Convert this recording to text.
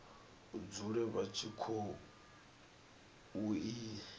dzule vha tshi khou i